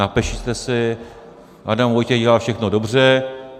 Napište si: Adam Vojtěch dělá všechno dobře.